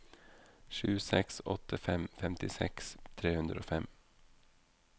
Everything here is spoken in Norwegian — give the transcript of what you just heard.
sju seks åtte fem femtiseks tre hundre og fem